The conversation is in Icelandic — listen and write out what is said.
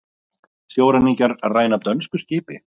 Sjóræningjar ræna dönsku skipi